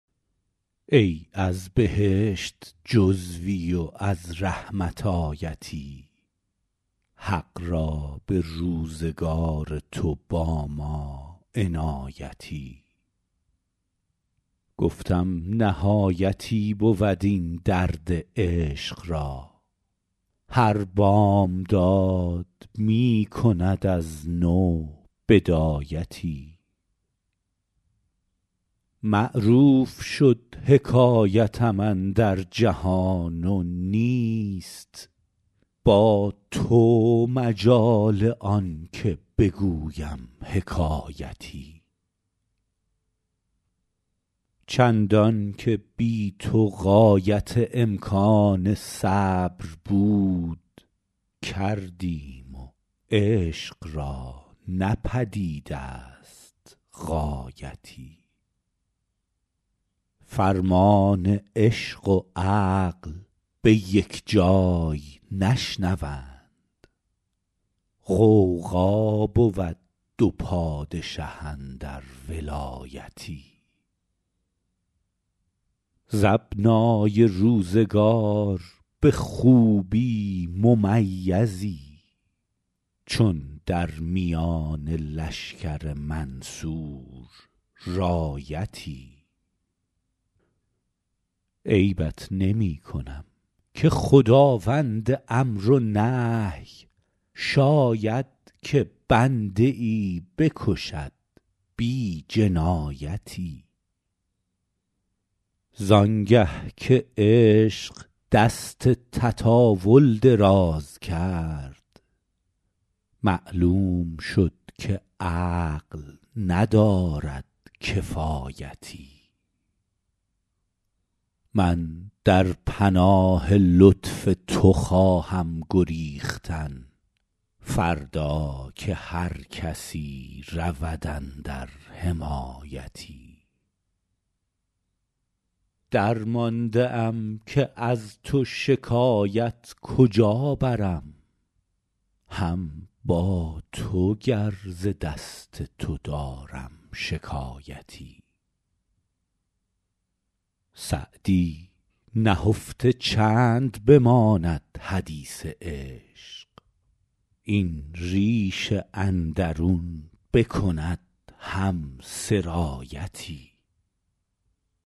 ای از بهشت جزوی و از رحمت آیتی حق را به روزگار تو با ما عنایتی گفتم نهایتی بود این درد عشق را هر بامداد می کند از نو بدایتی معروف شد حکایتم اندر جهان و نیست با تو مجال آن که بگویم حکایتی چندان که بی تو غایت امکان صبر بود کردیم و عشق را نه پدید است غایتی فرمان عشق و عقل به یک جای نشنوند غوغا بود دو پادشه اندر ولایتی ز ابنای روزگار به خوبی ممیزی چون در میان لشکر منصور رایتی عیبت نمی کنم که خداوند امر و نهی شاید که بنده ای بکشد بی جنایتی زان گه که عشق دست تطاول دراز کرد معلوم شد که عقل ندارد کفایتی من در پناه لطف تو خواهم گریختن فردا که هر کسی رود اندر حمایتی درمانده ام که از تو شکایت کجا برم هم با تو گر ز دست تو دارم شکایتی سعدی نهفته چند بماند حدیث عشق این ریش اندرون بکند هم سرایتی